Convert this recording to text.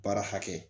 Baara hakɛ